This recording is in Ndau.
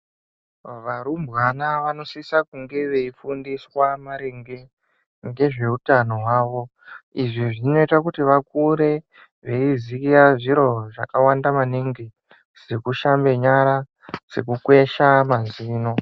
Varumbwana vanosisa kunga veifundiswa maringe ngezveutano hwavo. Izvi zvinoita kuti vakure veiziya zviro zvakawanda maningi, sekushambe nyara, sekukwesha mazino.